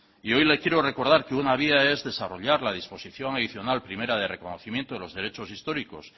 y hoy le quiero recordar que una vía es desarrollar la disposición adicional primera de reconocimiento de los derechos históricos